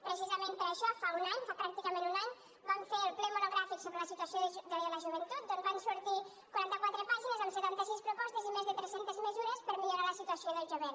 precisament per això fa un any fa pràcticament un any vam fer el ple monogràfic sobre la situació de la joventut d’on van sortir quaranta quatre pàgines amb setanta sis propostes i més de tres centes mesures per millorar la situació del jovent